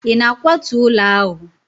ị na-akwatu ụlọ ahụ?